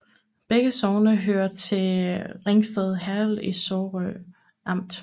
Begge sogne hørte til Ringsted Herred i Sorø Amt